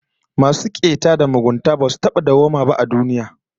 Masu keta da mugunta basu taba dawwaba a duniya ba